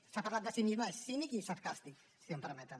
s’ha parlat de cinisme és cínic i sarcàstic si m’ho permeten